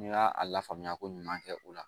N'i y'a a lafaamuya ko ɲuman kɛ u la